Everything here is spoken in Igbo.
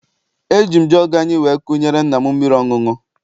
Eji m jọọgụ anyị wee kunyere nna m mmiri ọṅụṅụ.